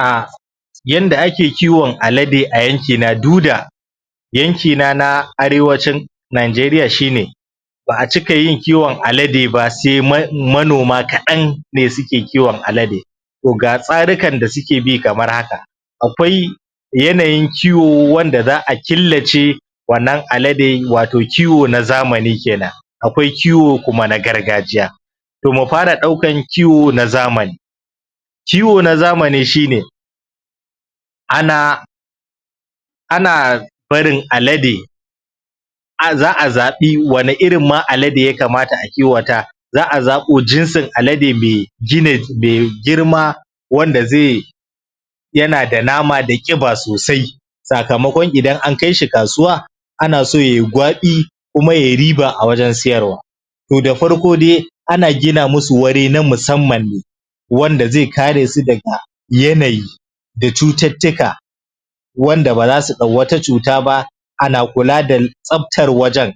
Aa... yanda ake kiwon Alade a yankina du da yankina na Arewacin Najeriya shi ne ba a cika yin kiwon alade ba sai manoma kaɗan ne suke kiwon alade to ga tsarikan da suke bi kamar haka akwai yanayin kiwo wanda za a killace wannan alade wato kiwo na zamani kenan akwai kiwo kuma na gargajiya to mu fara ɗaukan kiwo na zaman kiwo na zamani shi ne ana ana barin alade za a zaɓi wane irin ma alade ya kamata a kiwata za a zaɓo jinsin alade mai ginet mai girma wanda zai yana da nama da ƙiba sosai sakamakon idan an kai shi kasuwa ana so yayi gwaɓi kuma yayi riba a wajen siyarwa to da farko dai ana gina musu wuri na musamman ne wanda zai kare su daga yanayi da cututtuka wanda ba za su ɗau wata cuta ba ana kula da tsabtar wajen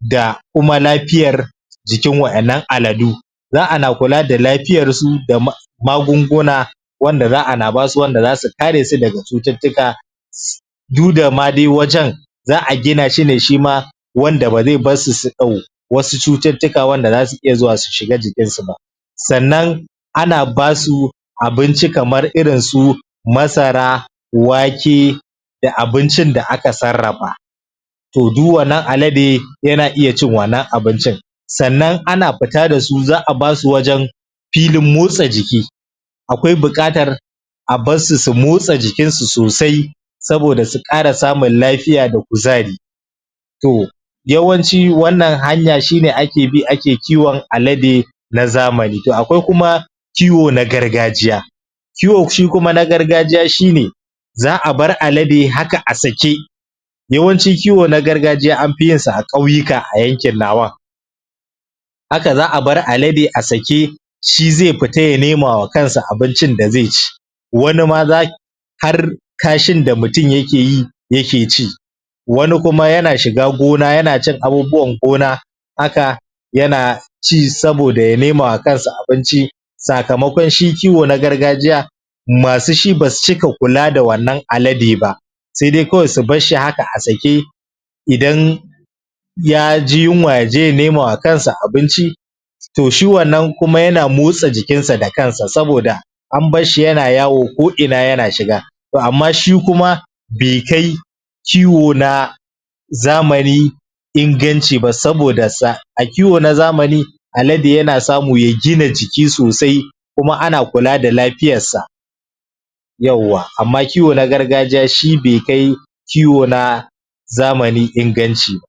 da kuma lafiyar jikin waƴannan aladu za ana kula da lafiyarsu da magunguna wanda za ana ba su wanda za su kare su daga cututtuka sits du da ma dai wajen za a gina shi ne shi ma wanda ba zai bar su su ɗau wasu cututtuka wanda za su iya zuwa du shiga jikinsu ba sannan ana ba su abinci kamar irin su masara wake da abincin da aka sarrafa to du wannan alade yana iya cin wannan abincin sannan ana fita da su za a ba su wajen filin motsa jiki akwai buƙatar a bar su su motsa jikinsu sosai saboda su ƙara samun lafiya da kuzari to yawanci wannan hanya shi ne ake bi ake kiwon alade na zamani to akwai kuma kiwo na gargajiya kiwo shi kuma na gargajiya shi ne za a bar alade haka a sake yawanci kiwo na gargajiya an fi yin sa a ƙauyuka a yankin nawan haka za a bar alade a sake shi zai fita ya nemawa kansa abincin da zai ci wani ma za har kashin da mutum yake yi yake ci wani kuma yana shiga gona yana cin abubuwan gona haka yana ci saboda ya nemawa kansa abinci sakamakon shi kiwo na gargajiya masu shi ba su cika kula da wannan alade ba sai dai kawai haka a sake idan ya ji yunwa ya je nemawa kansa abinci to shi wannan kuma yana motsa jikinsa saboda an bar shi yana yawo ko'ina yana shiga to amma shi kuma bai kai kiwo na zamani inganci ba saboda a kiwo na zamani alade yana samu ya gina jiki sosai kuma ana kula da lafiyarsa yauwa amma kiwo na gargajiya shi bai kai kiwo na zamani inganci